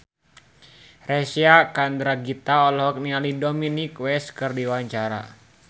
Reysa Chandragitta olohok ningali Dominic West keur diwawancara